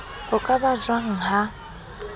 ho ka ba jwang ha